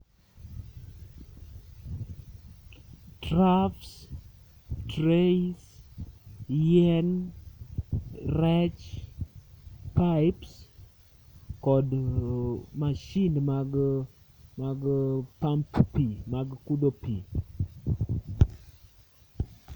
Troughs, rays, yien, rech pipes kod mashin mag pump pi, mag kudho pi.